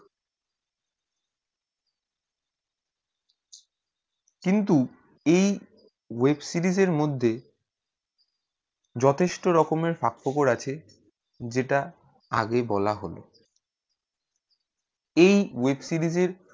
কিন্তু এই web series মধ্যে যথেষ্ট রকমে ফাঁকফোঁকড় আছে যেটা আগে বলা হলো এই web series এর